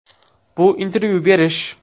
Bu intervyu berish.